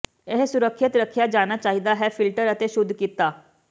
ਇਹ ਸੁਰੱਖਿਅਤ ਰੱਖਿਆ ਜਾਣਾ ਚਾਹੀਦਾ ਫਿਲਟਰ ਅਤੇ ਸ਼ੁਧ ਕੀਤਾ